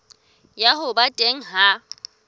ya ho ba teng ha